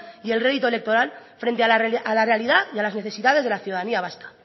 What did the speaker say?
y el rédito electoral frente a la realidad y a las necesidades de la ciudadanía vasca